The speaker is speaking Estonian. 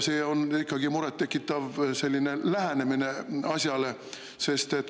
See on ikkagi murettekitav lähenemine asjale.